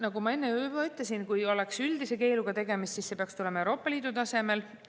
" Nagu ma enne ütlesin, kui oleks üldise keeluga tegemist, siis see peaks tulema Euroopa Liidu tasemel.